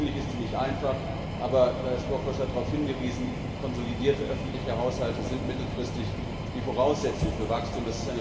Natürlich ist sie nicht einfach, aber Lajos Bokros hat darauf hingewiesen konsolidierte öffentliche Haushalte sind mittelfristig die Voraussetzung für Wachstum.